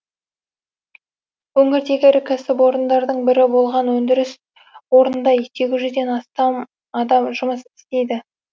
өңірдегі ірі кәсіпорындардың бірі болған өндіріс орнында сегіз жүзден астам адам жұмыс істейді